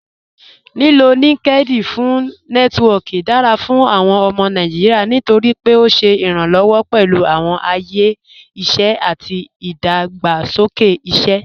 Lílò LinkedIn fún Nẹtiwọọki dára fún awọn ọmọ Nàìjíríà nítorí pé ó ṣé iranlọwọ pẹ̀lú awọn ayé iṣẹ àti ìdágbàsókè iṣẹ.